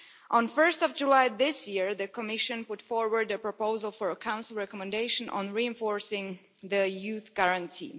On 1 July this year, the Commission put forward a proposal for a Council recommendation on reinforcing the Youth Guarantee.